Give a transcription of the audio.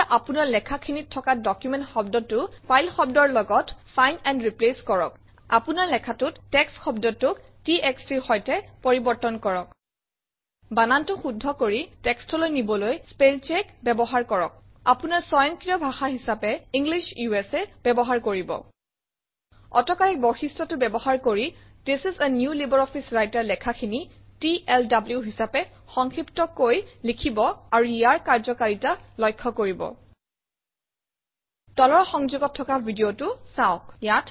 এতিয়া আপোনাৰ লেখাখিনিত থকা ডকুমেণ্ট শব্দটো ফাইল শব্দৰ লগত ফাইণ্ড এণ্ড ৰিপ্লেচ কৰক আপোনাৰ লেখাটোত টেক্সট শব্দটোক txt ৰ সৈতে পৰিৱৰ্তন কৰক বানানটো শুদ্ধ কৰি text অলৈ নিবলৈ স্পেল চেক ব্যৱহাৰ কৰক আপোনাৰ স্বয়ংক্ৰিয় ভাষা হিচাপে ইংলিছ উচা ব্যৱহাৰ কৰিব অটো কৰেক্ট বৈশিষ্ট্যটো ব্যৱহাৰ কৰি this is a new LibreOffice Writer লেখাখিনি টিএলডব্লু হিচাপে সংক্ষিপ্তকৈ লিখিব আৰু ইয়াৰ কাৰ্যকাৰিতা লক্ষ্য কৰিব তলৰ সংযোগত থকা ভিডিঅটো চাওক